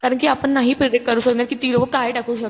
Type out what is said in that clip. कारण कि आपण नाही प्रिडिक्ट करू शकणार कि ती लोक काय टाकू शकतात.